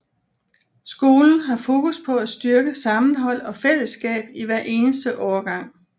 Skolen har fokus på at styrke sammenhold og fællesskab i hver eneste årgang